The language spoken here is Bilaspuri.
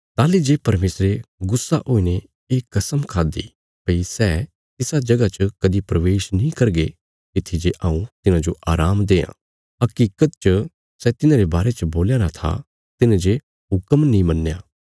ताहली जे परमेशरे गुस्सा हुईने ये कस्म खाद्दि भई सै तिसा जगह च कदीं प्रवेश नीं करगे तित्थी जे हऊँ तिन्हांजो आराम देआं हकीकत च सै तिन्हांरे बारे च बोल्या राँ था तिन्हें जे हुक्म नीं मन्नया